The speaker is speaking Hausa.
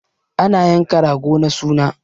Ana yankan rago na suna